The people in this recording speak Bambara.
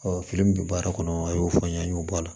fili min bɛ baara kɔnɔ a y'o fɔ n ye an y'o bɔ a la